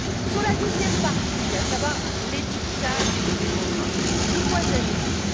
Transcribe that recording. Sur la deuxième partie, à savoir l'étiquetage des bovins, de quoi s'agit il?